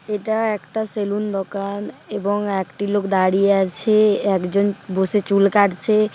এটা একটা সেলুন দোকান এবং একটি লোক দাঁড়িয়ে আছে একজন বসে চুল কাটছে ।